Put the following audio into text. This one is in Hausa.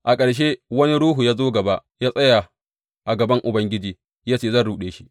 A ƙarshe, wani ruhu ya zo gaba, ya tsaya a gaban Ubangiji ya ce, Zan ruɗe shi.’